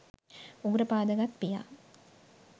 උගුර පාදගත් පියා